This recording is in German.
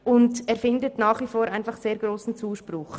Zudem findet er nach wie vor sehr grossen Zuspruch.